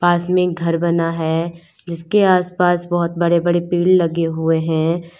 पास में एक घर बना है जीसके आस पास बहोत बड़े बड़े पेड़ लगे हुए हैं।